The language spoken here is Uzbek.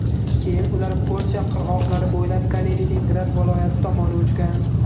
Keyin ular Polsha qirg‘oqlari bo‘ylab Kaliningrad viloyati tomon uchgan.